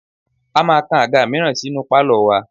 A máa kan àga mìíràn sí inú pálọ̀ wa